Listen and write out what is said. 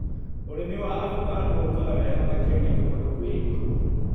ũrĩmi wa avocado ũkaga wega makĩria kũndũ kwĩ igũrũ.